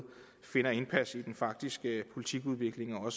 vinder indpas i den faktiske politikudvikling og